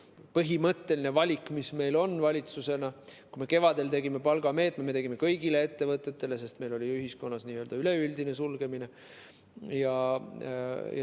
Põhimõtteline valik, mis meil valitsuses oli, kui me kevadel tegime palgameetme, oli see, et me tegime selle kõigile ettevõtetele, sest oli ühiskonna üleüldine sulgemine.